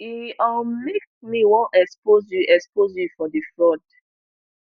e um make me wan expose you expose you for di fraud